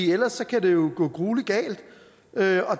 ellers kan det jo gå gruelig galt